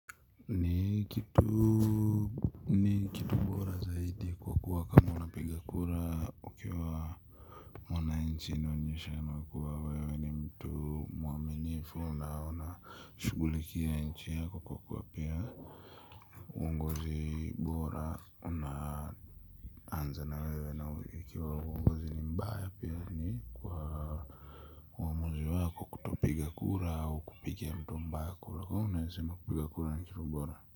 Ni kitu bora zaidi kwa kuwa kama unapiga kura ukiwa mwananchi inaonyesha kuwa wewe ni mtu mwaminifu na unashughulikia nchi yako kwa kuwa pia uongozi bora una anza na wewe na ikiwa uongozi ni mbaya pia ni kwa uomuzi wako kutopiga kura au kupigia mtu mbaya kura. Kwaiyo naweza sema kupigakura nikifu bora.